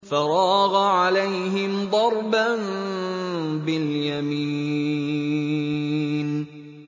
فَرَاغَ عَلَيْهِمْ ضَرْبًا بِالْيَمِينِ